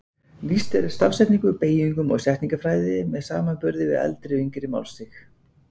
Lýst er stafsetningu, beygingum og setningafræði með samanburði við eldri og yngri málstig.